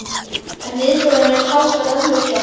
En viðbrögðin eru talsvert önnur hér.